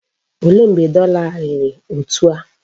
Olee mgbe dọla a riri etu a?